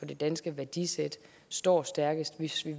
det danske værdisæt står stærkest hvis vi